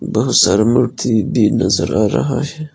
बहुत सारा मूर्ति भी नजर आ रहा है।